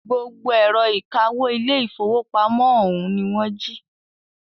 Gbogbo ẹ̀rọ ìkawó ilé ìfọwọ́pamo ọ̀ún ní wọ́n jí.